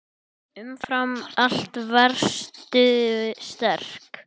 Umfram allt varstu sterk.